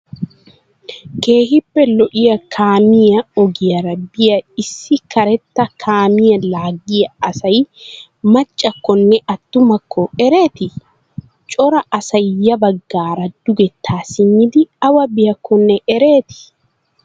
keehippe lo'iya kaamiyaa ogiyaara biya issi kareetta kaamiya laaggiyaa asay maccakkonne attumakko ereeti? Cora asay ya baggaara dugettaa simmidi awa biyakkonne ereeti?